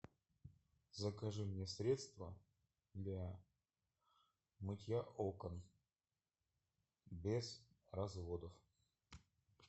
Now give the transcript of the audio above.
закажи мне средство для мытья окон без разводов